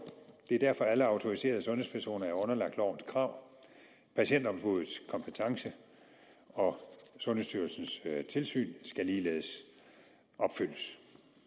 det er derfor at alle autoriserede sundhedspersoner er underlagt lovens krav patientombuddets kompetence og sundhedsstyrelsens tilsyn skal ligeledes opfyldes